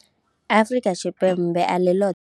Afrika Tshipembe a ḽi ḽoṱhe.